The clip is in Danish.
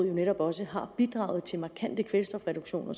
jo netop også har bidraget til markante kvælstofreduktioner